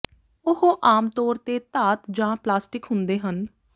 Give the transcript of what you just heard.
ਉਹ ਆਮ ਤੌਰ ਤੇ ਧਾਤ ਜਾਂ ਪਲਾਸਟਿਕ ਹੁੰਦੇ ਹਨ